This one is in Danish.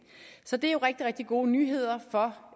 så det er jo rigtig rigtig gode nyheder for